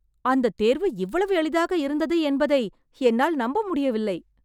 அந்தத் தேர்வு இவ்வளவு எளிதாக இருந்தது என்பதை என்னால் நம்ப முடியவில்லை!